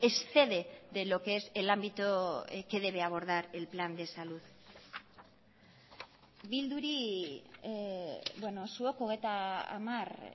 excede de lo que es el ámbito que debe abordar el plan de salud bilduri zuek hogeita hamar